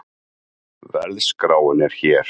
Verðskráin er hér